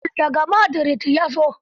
Raul, da ga Madrid ya zo.